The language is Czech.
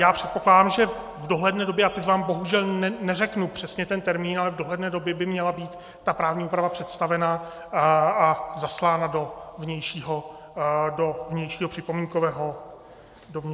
Já předpokládám, že v dohledné době, a teď vám bohužel neřeknu přesně ten termín, ale v dohledné době by měla být ta právní úprava představena a zaslána do vnějšího připomínkového řízení.